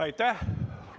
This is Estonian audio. Aitäh!